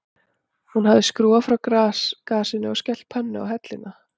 Hún hafði skrúfað frá gasinu og skellt pönnu á helluna